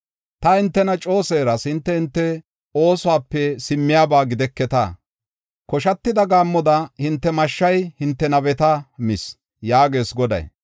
Ta hintena coo seeras; hinte hinte oosuwape simmiyaba gideketa. Koshatida gaammoda hinte mashshay hinte nabeta mis” yaagees Goday.